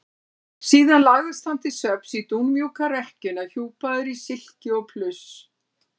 Síðan lagðist hann til svefns í dúnmjúka rekkjuna hjúpaður í silki og pluss.